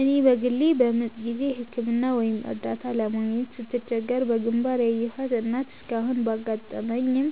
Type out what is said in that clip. እኔ በግሌ በምጥ ጊዜ ሕክምና ወይም እርዳታ ለማግኘት ስትቸገር በግንባር ያየኋት እናት እስካሁን ባታጋጥመኝም፣